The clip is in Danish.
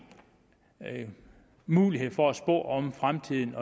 mulighed for at spå om fremtiden